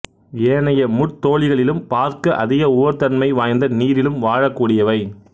ஏனைய முட்தோலிகளிலும் பார்க்க அதிக உவர் தன்மை வாய்ந்த நீரிலும் வாழக்கூடியவை